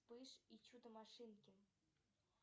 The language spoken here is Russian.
вспыш и чудо машинки